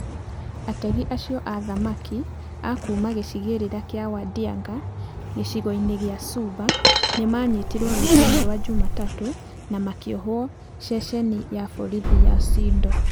Ategi acio a thamaki a kuuma gĩcigĩrĩra kĩa Wadiang'a gĩcigo-inĩ gĩa Suba, nĩ maanyitirũo rũcinĩ rwa Jumatatu na makĩohwo ceceni-inĩ ya borithi ya Sindo.